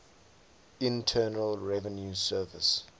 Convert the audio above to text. internal revenue service